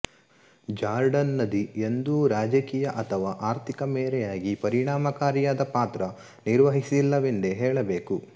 Jordan ನದಿ ಎಂದೂ ರಾಜಕೀಯ ಅಥವಾ ಆರ್ಥಿಕ ಮೇರೆಯಾಗಿ ಪರಿಣಾಮಕಾರಿಯಾದ ಪಾತ್ರ ನಿರ್ವಹಿಸಿಲ್ಲವೆಂದೇ ಹೇಳಬೇಕು